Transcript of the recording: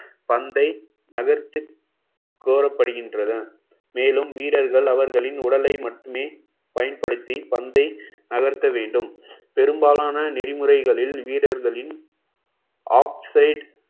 பந்தை நகர்த்து கோரப்படுகின்றன மேலும் வீரர்கள் அவர்களின் உடலை மட்டுமே பயன்படுத்தி பந்தை நகர்த்த வேண்டும் பெரும்பாலான நெறிமுறைகளில் வீரர்களின் offside